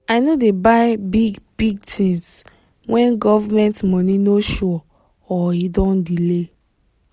i no dey buy big-big things when government money no sure or e don delay